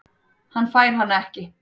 Hann fær hana ekki.